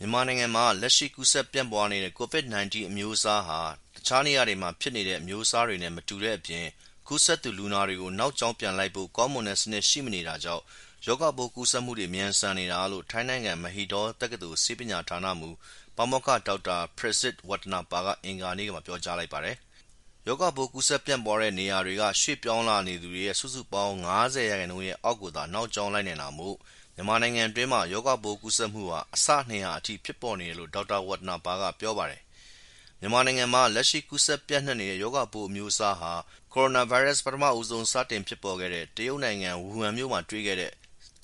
မြန်မာနိုင်ငံမှာ လက်ရှိ ကူးစက် ပြန့်ပွားနေတဲ့ ကိုဗစ်-၁၉ အမျိုးအစားဟာ တခြားနေရာတွေမှာ ဖြစ်နေတဲ့ အမျိုးအစားနဲ့ မတူတဲ့အပြင် ကူးစက်သူ လူနာတွေကို နောက်ကြောင်းပြန်လိုက်ဖို့ ကောင်းမွန်တဲ့စနစ် ရှိမနေတာကြောင့် ရောဂါပိုးကူးစက် မြန်ဆန်နေတာလို့ ထိုင်းနိုင်ငံ၊ Mahidol တက္ကသိုလ် ဆေးပညာဌာနမှူး ပါမောက္ခ ဒေါက်တာ Prasit Watanapa က အင်္ဂါနေ့မှာ ပြောပါတယ်။ ရောဂါပိုး ကူးစက်ပြန့်ပွားနေတဲ့နေရာတွေကနေ ရွှေ့ပြောင်း သွားလာနေသူ စုစုပေါင်းရဲ့ ၅၀% အောက်ကိုသာ နောက်ကြောင်း လိုက်နိုင်တာမို့ မြန်မာနိုင်ငံအတွင်းမှာ ရောဂါပိုးကူးစက်မှုဟာ အဆ ၂၀၀ အထိ ဖြစ်ပေါ်နေတယ်လို့ ဒေါက်တာ Watanapa က ပြောပါတယ်။ မြန်မာနိုင်ငံမှာ လက်ရှိ ကူးစက်ပြန့်နှံ့နေတဲ့ ရောဂါပိုး အမျိုးအစားဟာ ကိုရိုနာဗိုင်းရပ်စ် ပထမဆုံး စတင်ဖြစ်ပေါ်ခဲ့တဲ့ တရုတ်နိုင်ငံ၊ ဝူဟန်မြို့မှာတွေ့ခဲ့တဲ့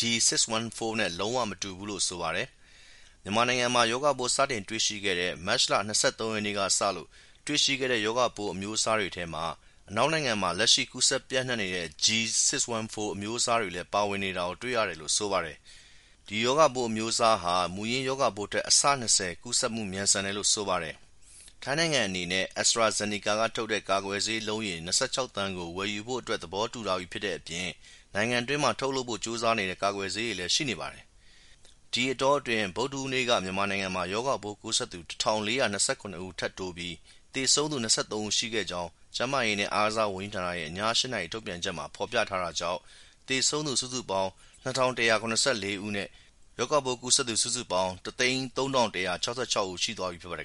D614 နဲ့ လုံး၀ မတူဘူးလို့ ဆိုပါတယ်။ မြန်မာနိုင်ငံမှာ ရောဂါပိုး စတင်တွေ့ရှိတဲ့ မတ်လ ၂၃ ရက်နေ့ကစလို့ တွေ့ရှိခဲ့တဲ့ ရောဂါပိုး အမျိုးအစားတွေထဲမှာ အနောက်နိုင်ငံမှာ လက်ရှိ ကူးစက် ပြန့့်နှံ့နေတဲ့ G614 အမျိုးအစားတွေလည်း ပါဝင်နေတာကို တွေ့ရတယ်လို့ ဆိုပါတယ်။ ဒီ ရောဂါပိုး အမျိုးအစားဟာ မူရင်း ရောဂါပိုးထက် အဆ ၂၀ ကူးစက်မှု မြန်ဆန်တယ်လို့ ဆိုပါတယ်။ ထိုင်းနိုင်ငံအနေနဲ့ AstraZeneca က ထုတ်တဲ့ ကာကွယ်ဆေး အလုံးရေ ၂၆ သန်းကို ဝယ်ဖို့အတွက် သဘောတူထားပြီးဖြစ်တဲ့အပြင် နိုင်ငံတွင်းမှာ ထုတ်ဖို့ကြိုးစားနေတဲ့ ကာကွယ်ဆေးတွေလည်း ရှိနေပါတယ်။ ဒီအတောအတွင်း ဗုဒ္ဓဟူးနေ့က မြန်မာနိုင်ငံမှာ ရောဂါကူးစက်သူ ၁,၄၂၇ ဦး ထပ်တိုးပြီး သေဆုံးသူက ၂၃ ဦး ရှိခဲ့ကြောင်း ကျန်းမာရေးနဲ့ အားကစားဝန်ကြီးဌာနရဲ့ ည ၈ နာရီ ထုတ်ပြန်ချက်မှာ ဖော်ပြထားတာကြောင့် သေဆုံးသူ စုစုပေါင်း ၂,၁၇၄ ဦးနဲ့ ရောဂါပိုး ကူးစက် စုစုပေါင်း ၁၀၃,၁၆၆ ဦး ရှိသွားပါပြီ ဖြစ်ပါတယ်